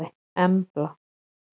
Embla